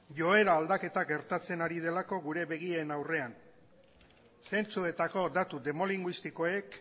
joera aldaketa gertatzen ari delako gure begien aurrean zentsuetako datu demo linguistikoek